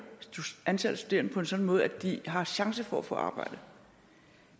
antallet af studerende på en sådan måde at de har chance for at få arbejde